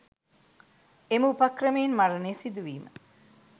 එම උපක්‍රමයෙන් මරණය සිදුවීම